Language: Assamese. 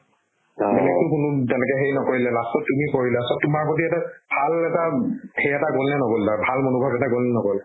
বেলেগতো কোনো তেনেকে সেই নকৰিলে last ত তুমি কৰিলা তোমাৰ প্ৰতি এটা ভাল এটা উব সেই এটা গ'ল নে নগ'ল তাৰ ভাল মনোভাব এটা গ'ল নে নগ'ল